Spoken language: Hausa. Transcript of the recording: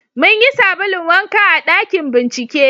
mun yi sabulun wanka a ɗakin bincike